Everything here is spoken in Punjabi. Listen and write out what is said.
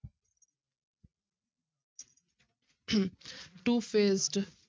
two-faced